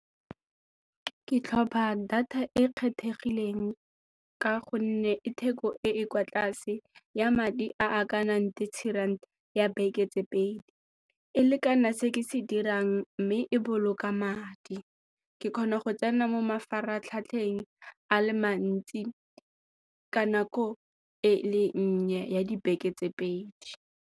Ke tlhopha data e kgethegileng ka gonne e theko e e kwa tlase ya madi a a ka nang thirty rand ya beke tse pedi, e lekana se ke se dirang mme e boloka madi ke kgona go tsena mo mafaratlhatlheng a le mantsi ka nako e le nnye ya dibeke tse pedi.